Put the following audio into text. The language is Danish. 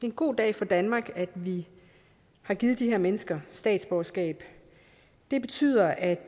en god dag for danmark at vi har givet de her mennesker statsborgerskab det betyder at